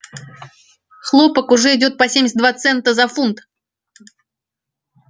хлопок уже идёт по семьдесят два цента за фунт